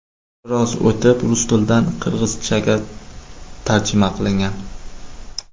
Biroz o‘tib, rus tilidan qirg‘izchaga tarjima qilingan.